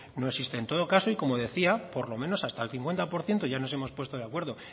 no existe en todo caso y como decía por lo menos hasta el cincuenta por ciento ya nos hemos puesto de acuerdo